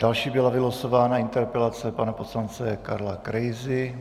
Další byla vylosována interpelace pana poslance Karla Krejzy.